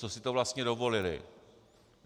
Co si to vlastně dovolili.